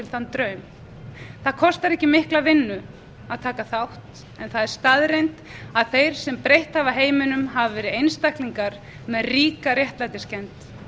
þann draum það kostar ekki mikla vinnu að taka þátt en það er staðreynd að þeir sem breytt hafa heiminum hafa verið einstaklingar með ríka réttlætiskennd